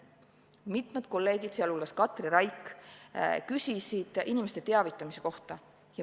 Mitmed kolleegid, sealhulgas Katri Raik, küsisid inimeste teavitamise kohta.